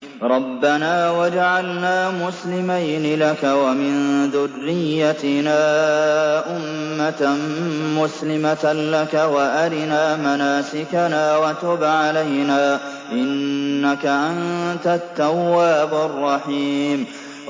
رَبَّنَا وَاجْعَلْنَا مُسْلِمَيْنِ لَكَ وَمِن ذُرِّيَّتِنَا أُمَّةً مُّسْلِمَةً لَّكَ وَأَرِنَا مَنَاسِكَنَا وَتُبْ عَلَيْنَا ۖ إِنَّكَ أَنتَ التَّوَّابُ الرَّحِيمُ